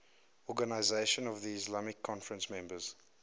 organisation of the islamic conference members